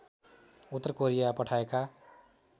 उत्तर कोरिया पठाएका